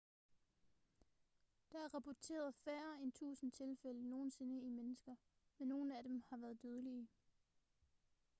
der er rapporteret færre end tusinde tilfælde nogensinde i mennesker men nogle af dem har været dødelige